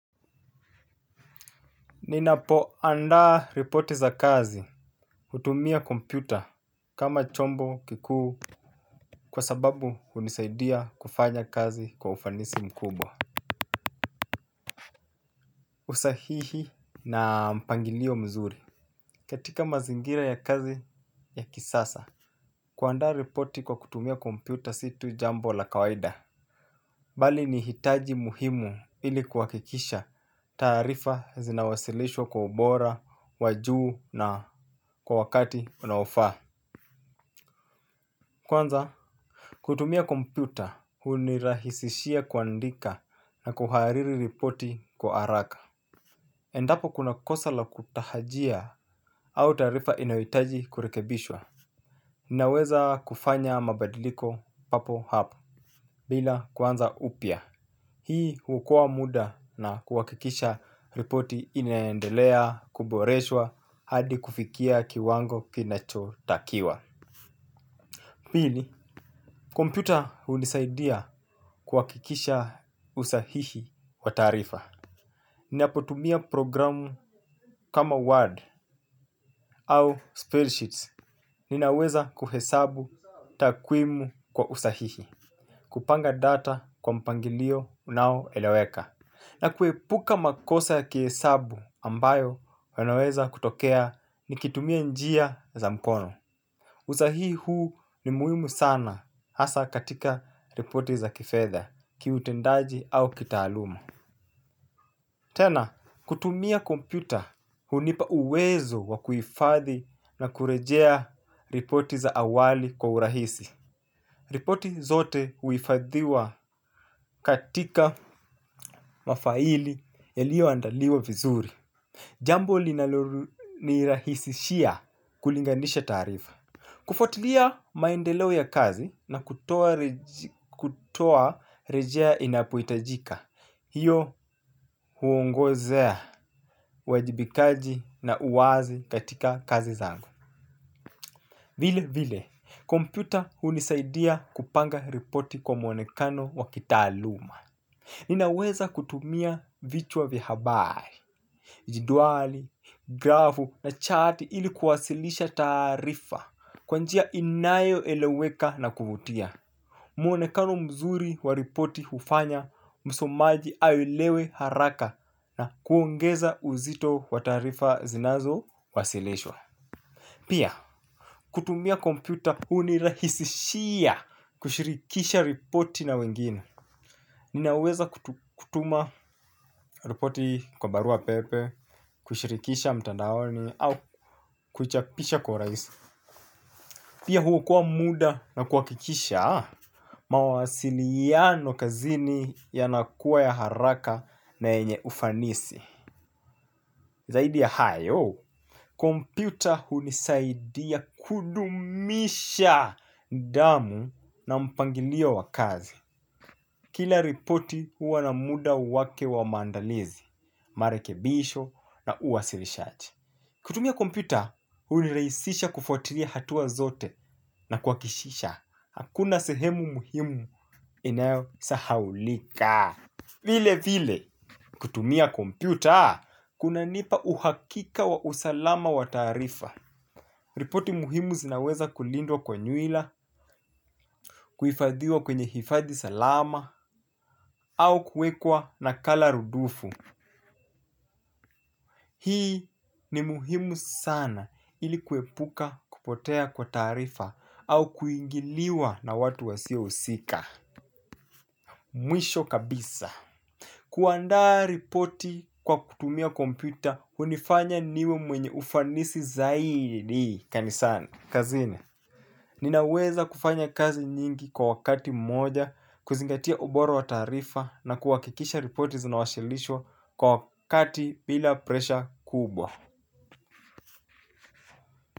Ninapoandaa ripoti za kazi hutumia kompyuta kama chombo kikuu kwa sababu hunisaidia kufanya kazi kwa ufanisi mkubwa. Usahihi na mpangilio mzuri. Katika mazingira ya kazi ya kisasa kuandaa ripoti kwa kutumia kompyuta si tu jambo la kawaida. Bali ni hitaji muhimu ili kuhakikisha taarifa zinawasilishwa kwa ubora wa juu na kwa wakati unaofaa. Kwanza kutumia kompyuta hunirahisishia kuandika na kuhariri ripoti kwa haraka. Endapo kuna kosa la kutahajia au taarifa inayohitaji kurekebishwa naweza kufanya mabadiliko papo hapo bila kuanza upya. Hii huokoa muda na kuhakikisha ripoti inaendelea kuboreshwa hadi kufikia kiwango kinachotakiwa. Pili kompyuta hunisaidia kuhakikisha usahihi wa taarifa. Ninapotumia programu kama Word au Spreadsheets ninaweza kuhesabu takwimu kwa usahihi. Kupanga data kwa mpangilio unaoeleweka. Na kuepuka makosa ya kihesabu ambayo yanaweza kutokea nikitumia njia za mkono. Usahihi huu ni muhimu sana hasa katika ripoti za kifedha, kiutendaji au kitaaluma. Tena, kutumia kompyuta hunipa uwezo wa kuhifadhi na kurejea ripoti za awali kwa urahisi. Ripoti zote huhifadhiwa katika mafaili yaliyoandaliwa vizuri. Jambo linalonirahisishia kulinganisha taarifa kufuatilia maendeleo ya kazi na kutoa rejea inapohitajika. Hiyo huongozea, uwajibikaji na uwazi katika kazi zangu. Vilevile, kompyuta hunisaidia kupanga ripoti kwa mwonekano wa kitaaluma. Ninaweza kutumia vichwa vya habari, jedwali, grafu na chat ili kuwasilisha taarifa kwa njia inayoeleweka na kuvutia. Mwonekano mzuri wa ripoti hufanya msomaji aelewe haraka na kuongeza uzito wa taarifa zinazowasilishwa. Pia, kutumia kompyuta hunirahisishia kushirikisha ripoti na wengine. Ninaweza kutuma ripoti kwa baruapepe, kuishirikisha mtandaoni au kuichapisha kwa urahisi. Pia huokoa muda na kuhakikisha mawasiliano kazini yanakuwa ya haraka na yenye ufanisi. Zaidi ya hayo, kompyuta hunisaidia kudumisha damu na mpangilio wa kazi. Kila ripoti huwa na muda wake wa maandalizi, marekebisho na uwasilishaji. Kutumia kompyuta, hunirahisisha kufuatilia hatua zote na kuhakikisha. Hakuna sehemu muhimu inayosahaulika. Vilevile, kutumia kompyuta, kunanipa uhakika wa usalama wa taarifa. Ripoti muhimu zinaweza kulindwa kwa nyuila, kuhifadhiwa kwenye hifadhi salama, au kuwekwa nakala rudufu. Hii ni muhimu sana ili kuepuka kupotea kwa taarifa au kuingiliwa na watu wasiohusika. Mwisho kabisa. Kuandaa ripoti kwa kutumia kompyuta hunifanya niwe mwenye ufanisi zaidi. Kanisani. Kazini. Ninaweza kufanya kazi nyingi kwa wakati mmoja, kuzingatia ubora wa taarifa na kuhakikisha ripoti zinawashilishwa kwa wakati bila presha kubwa.